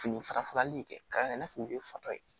Fini fara farali in kɛ k'a yira i n'a fɔ u ye fatɔ ye